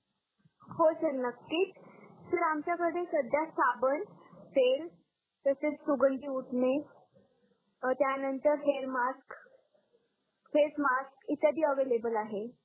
हो सर नक्कीच, सर आमच्या कडे सध्या साबण, तेल, तसेच सुगंधी उठणे त्या नंतर हेयर मास्क, फेस मास्क इत्यादि एवलेबल आहे